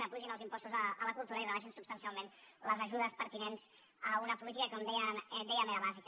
s’apugin els impostos a la cultura i rebaixin substancialment les ajudes pertinents a una política que com dèiem era bàsica